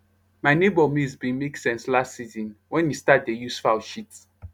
my neighbour maize bin make sense last season wen e start dey use fowl shit